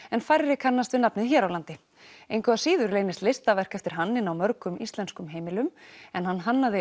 en færri kannast við nafnið hér á landi engu að síður leynist listaverk eftir hann inni á mörgum íslenskum heimilum en hann hannaði